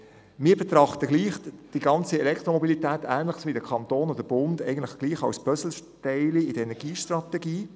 Wir betrachten die ganze Elektromobilität ähnlich wie der Kanton und der Bund als Puzzleteil in der Energiestrategie.